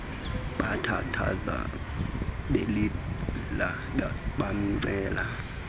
bathandaza belila bamcela